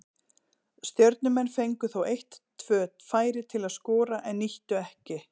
Stjörnumenn fengu þó eitt tvö færi til að skora en nýttu ekki.